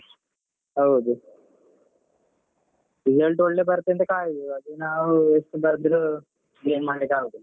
ಹೌದು result ಒಳ್ಳೆ ಬರ್ತದಂತ ಕಾಯುದು ಅದು ನಾವು ಎಷ್ಟು ಬರ್ದ್ರು ಏನ್ ಮಾಡ್ಲಿಕ್ ಆಗುದಿಲ್ಲ.